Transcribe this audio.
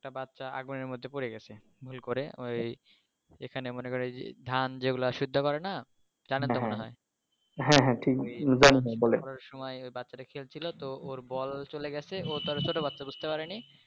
একটা বচ্চা আগুনের মধ্যে পরে গেছে ভুল করে ওই এখানে মনে করেন ধান যেগুলা সিদ্ধ করে না জানেন তো মনে হয় করার সময় ওই বাচ্চাটা খেলছিল তো ওর বল চলে গেছে ও তো আর ছোট বাচ্চা বুজতে পারে নি